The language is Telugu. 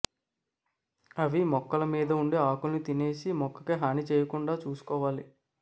అవి మొక్కల మీద ఉండి ఆకుల్ని తినేసి మొక్కకి హాని చేయకుండా చూసుకోవాలి